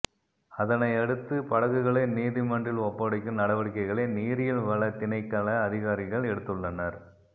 அதனை அடுத்து படகுகளை நீதிமன்றில் ஒப்படைக்கும் நடவடிக்கைகளை நீரியல்வளத் திணைக்கள அதிகாரிகள் எடுத்துள்ளனர்